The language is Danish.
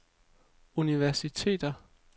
universiteter